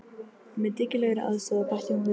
Með dyggilegri aðstoð, bætti hún við.